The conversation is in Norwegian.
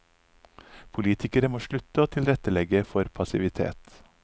Politikere må slutte å tilrettelegge for passivitet.